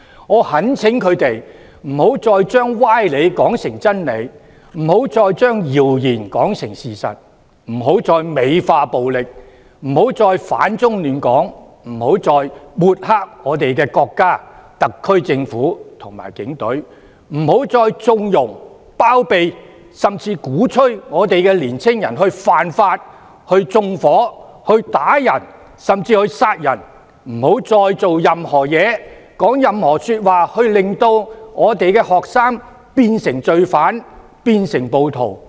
我懇請他們不要再把歪理說成真埋，不要再把謠言說成事實，不要再美化暴力，不要再反中亂港，不要再抹黑我們的國家、特區政府及警隊，不要再縱容、包庇甚至鼓吹年青人犯法、縱火、毆打甚至殺人，不要再做任何事情、說任何話，令到學生變成罪犯、暴徒、階下囚。